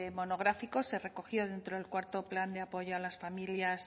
monográfico se recogió dentro del cuarto plan de apoyo a las familias